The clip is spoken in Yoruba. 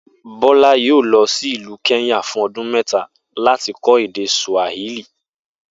Bó̩lá yóò lo̩ sí ìlú Ké̩ńyà fún o̩dún me̩ta láti ko̩ èdè Sùàhílì